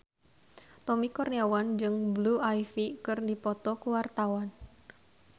Tommy Kurniawan jeung Blue Ivy keur dipoto ku wartawan